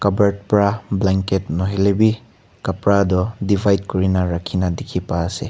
Kabert bra blanket nahoi lebeh kabra tu divide kurena rakhe kena dekhe pa ase.